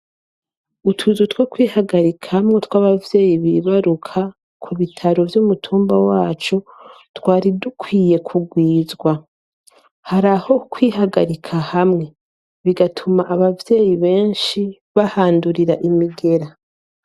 Utuzu two kwihagarikamwo twabavyeyi bibaruka ku bitaro vy'umutumba wacu twari dukwiye kugwizwa, haraho kwihagarika hamwe bigatuma abavyeyi benshi bahandurira imigera.